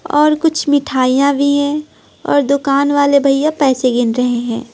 और कुछ मिठाइयां भी है और दुकान वाले भैया पैसे गिन रहे हैं।